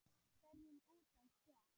hverjum út á stétt.